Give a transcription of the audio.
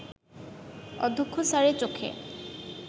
অধ্যক্ষ স্যারের চোখে